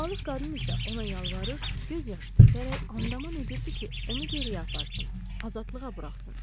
Balıq qadın isə ona yalvarır, göz yaşı tökərək andaman edirdi ki, onu geriyə aparsın, azadlığa buraxsın.